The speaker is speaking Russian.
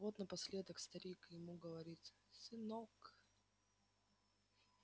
так вот напоследок старик ему и говорит сынок